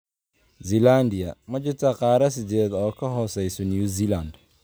Zealandia: Ma jirtaa qaarad sideedaad oo ka hoosaysa New Zealand?